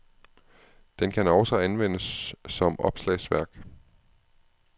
Den kan også anvendes som opslagsværk.